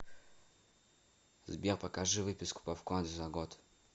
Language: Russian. сбер покажи выписку по вкладу за год